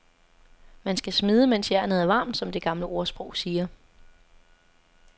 Man skal smede mens jernet er varmt, som det gamle ordsprog siger.